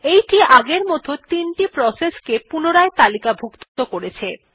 এইটি এখন আগের মতন ৩ টি প্রসেসকে পুনরায় তালিকাভুক্ত করবে